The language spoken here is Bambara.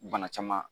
Bana caman